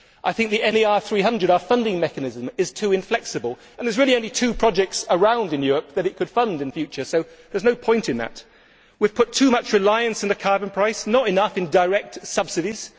I think the NER300, our funding mechanism, is too inflexible and there are really only two projects around in Europe that it could fund in future, so there is no point in that. We have placed too much reliance on the carbon price, not enough on direct subsidies.